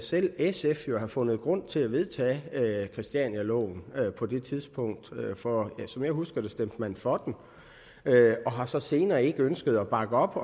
selv sf må jo have fundet grund til at vedtage christianialoven på det tidspunkt for som jeg husker det stemte man for den og har så senere ikke ønsket at bakke op